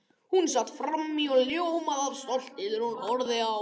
Hún sat frammí og ljómaði af stolti þegar hún horfði á